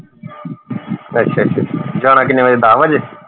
ਅਸ਼ਾ ਅਸ਼ਾ ਅਸ਼ਾ ਜਾਣਾ ਕਿੰਨੇ ਵਜੇ ਹੁੰਦਾ ਦੱਸ ਵਜੇ